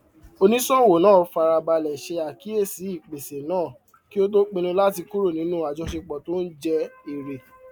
oníṣòwò náà fara balẹ ṣe àkíyèsí ìpèsè náà kí ó tó pinnu láti kúrò nínú ajọṣepọ tó ń jẹ èrè